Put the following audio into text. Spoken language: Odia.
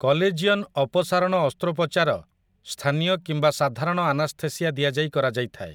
କଲେଜିଅନ୍ ଅପସାରଣ ଅସ୍ତ୍ରୋପଚାର ସ୍ଥାନୀୟ କିମ୍ବା ସାଧାରଣ ଆନାସ୍ଥେସିଆ ଦିଆଯାଇ କରାଯାଇଥାଏ ।